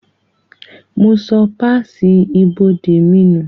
Mo sọ páàsì ibodè mi nù